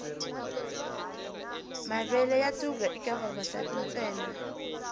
mavele ya thuga eka vavasati ntsena